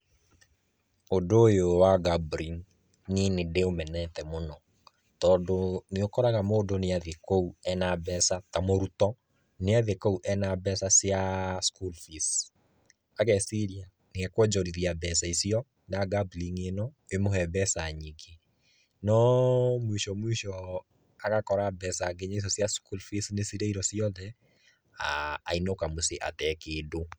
Ũndũ ũyũ wa gambling niĩ nĩ ndĩũmenete mũno. Tondũ nĩũkoraga mũndũ niathiĩ kũu ena mbeca, ta mũrutwo niathiĩ kũu ena mbeca cia school fees ageciria niekuonjorithia mbeca icio na gambling ĩno ĩmũhe mbeca nyingĩ no mwisho mwisho agakora mbeca nginya icio cia school fees nĩcirĩirwo ciothe, ainũka mũciĩ atarĩ kĩndũ.